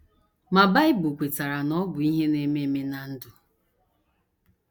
Ma Bible kwetara na ọ bụ ihe na - eme eme ná ndụ.